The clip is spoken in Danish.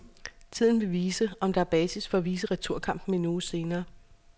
Tiden vil vise, om der er basis for at vise returkampen en uge senere.